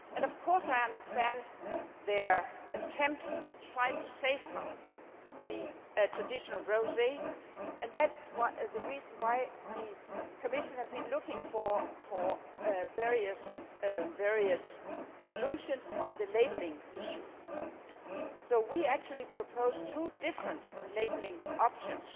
Of course I understand their attempt to try to safeguard the traditional rosé and that is the reason why the Commission has been looking at various solutions on the labelling issue. We actually proposed two different labelling options